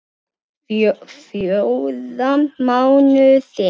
Fjóra mánuði.